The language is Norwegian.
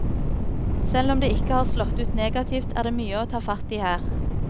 Selv om det ikke har slått ut negativt, er det mye å ta fatt i her.